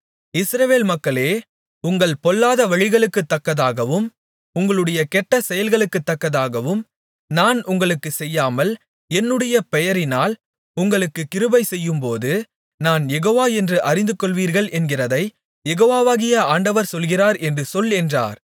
இஸ்ரவேல் மக்களே உங்கள் பொல்லாத வழிகளுக்குத்தக்கதாகவும் உங்களுடைய கெட்ட செயல்களுக்குத்தக்கதாகவும் நான் உங்களுக்குச் செய்யாமல் என்னுடைய பெயரினால் உங்களுக்குக் கிருபைசெய்யும்போது நான் யெகோவா என்று அறிந்துகொள்வீர்கள் என்கிறதைக் யெகோவாகிய ஆண்டவர் சொல்லுகிறார் என்று சொல் என்றார்